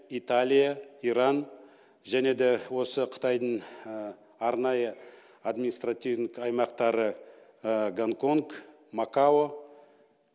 италия иран және де осы қытайдың арнайы административный аймақтары гонконг макао